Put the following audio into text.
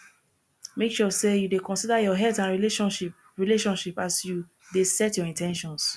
make sure say you de consider your health and relationship relationship as you de set your in ten tions